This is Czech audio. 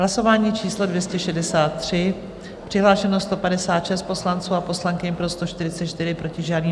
Hlasování číslo 263, přihlášeno 156 poslanců a poslankyň, pro 144, proti žádný.